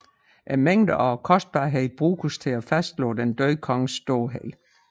Mængden og kostbarheden bruges til at fastslå den døde konges storhed